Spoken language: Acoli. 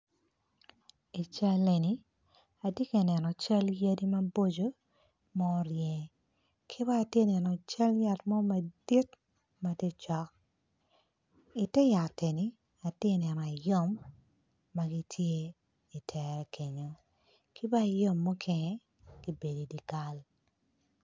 I cal eni atye ka neno yadi maboco ki bene atye ka neno cal yat mo madit ma tye cok. Atye ka neno ayom ama gitye i tere kenyu mukene gubedo i dye kal